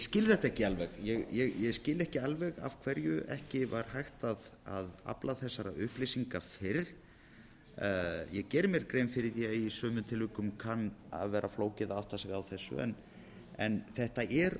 skil þetta ekki alveg ég skil ekki alveg af hverju ekki var hægt að afla þessara upplýsinga fyrr ég geri mér grein fyrir því að í sumum tilvikum kann að vera flókið að átta sig á þessu en þetta er